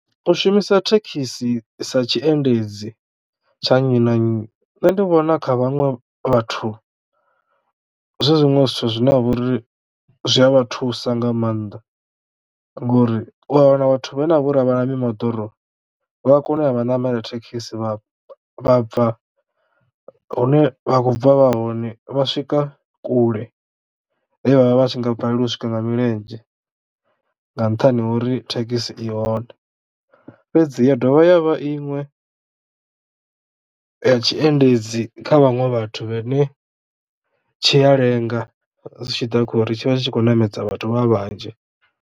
U shumisa thekhisi sa tshiendedzi tsha nnyi na nnyi nṋe ndi vhona kha vhaṅwe vhathu zwi zwiṅwe zwithu zwine ha vha uri zwi a vha thusa nga maanḓa ngori u a wana vhathu vha ne a vha na mimoḓoro vha kono u namele thekhisi vha vha bva hune vha khou bva vha hone vha swika kule he vhavha vhatshi nga balelwa u swika nga milenzhe nga nṱhani ha uri thekhisi i hone. Fhedzi ya dovha ya vha inwe ya tshiendedzi kha vhaṅwe vhathu vhe ne tshi a lenga zwi tshiḓa khori tshi vha tshi tshi khou ṋamedza vhathu vha vhanzhi.